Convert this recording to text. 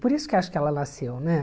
Por isso que acho que ela nasceu, né?